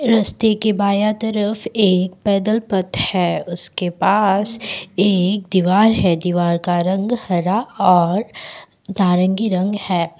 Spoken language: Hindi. रस्ते के बाँया तरफ़ एक पैदल पथ है उसके पास एक दीवार है दीवार का रंग हरा और नारंगी रंग है।